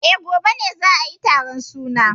Eh, gobe ne za ayi taron suna.